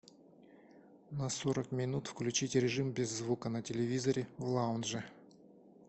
на сорок минут включить режим без звука на телевизоре в лаунже